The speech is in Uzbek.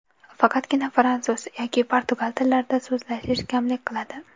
Faqatgina fransuz yoki portugal tillarida so‘zlashish kamlik qiladi.